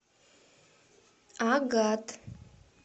агат